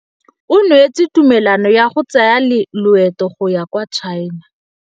O neetswe tumalanô ya go tsaya loetô la go ya kwa China.